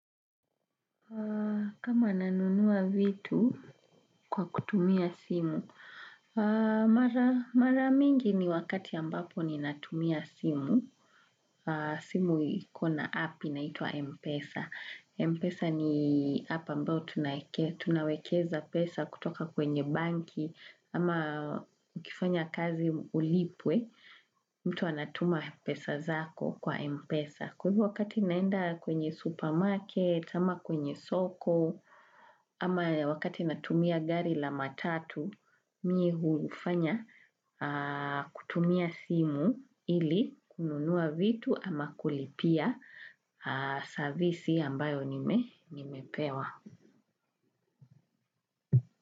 Kama nanunua vitu kwa kutumia simu. Maramingi ni wakati ambapo ni natumia simu. Simu ikona app inaitwa Mpesa. Mpesa ni app ambao tunawekeza pesa kutoka kwenye banki ama ukifanya kazi ulipwe mtu anatuma pesa zako kwa Mpesa. Kwa hivo wakati naenda kwenye supermarket, kwenye soko, ama wakati natumia gari la matatu, mii huufanya kutumia simu ili kununua vitu ama kulipia servisi ambayo nimepewa.